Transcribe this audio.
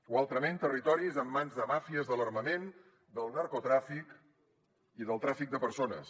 o altrament territoris en mans de màfies de l’armament del narcotràfic i del tràfic de persones